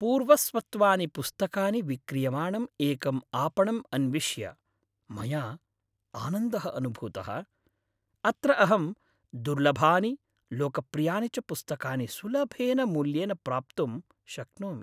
पूर्वस्वत्वानि पुस्तकानि विक्रियमाणं एकं आपणम् अन्विष्य मया आनन्दः अनुभूतः। अत्र अहं दुर्लभानि लोकप्रियानि च पुस्तकानि सुलभेन मूल्येन प्राप्तुं शक्नोमि।